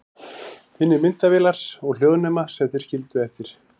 Finnið myndavélarnar og hljóðnemana sem þeir skildu eftir.